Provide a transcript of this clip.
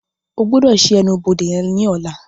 O gbọdọ ṣii ẹnu-bode yen ní ọla!